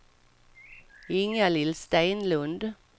Ingalill Stenlund